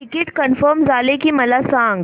ticket confirm झाले की मला सांग